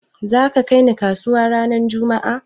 Za ka kai ni kasuwa ranar juma'a?